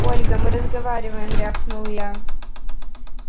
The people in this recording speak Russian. ольга мы разговариваем рявкнул я